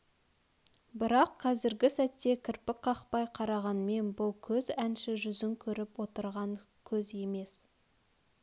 бірақ қазргі сәтте кірпік қақпай қарағанмен бұл көз әнші жүзін көріп отырған көз емес